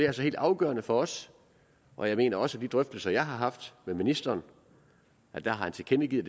altså helt afgørende for os og jeg mener også de drøftelser jeg har haft med ministeren har han tilkendegivet